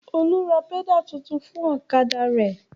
Olú ra pẹ́dà tuntun fún ọ̀kadà rẹ̀.